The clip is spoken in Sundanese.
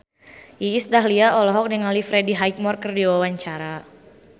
Iis Dahlia olohok ningali Freddie Highmore keur diwawancara